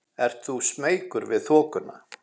Ert þú smeykur við þokuna?